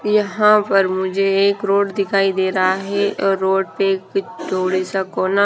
यहां पर मुझे एक रोड दिखाई दे रहा है और रोड पे एक थोड़ी सा कोना--